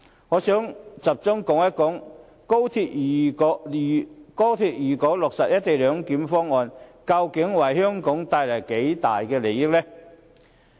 我想集中談談，如果高鐵落實"一地兩檢"方案，究竟可為香港帶來多大利益呢？